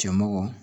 Cɛmɔgɔ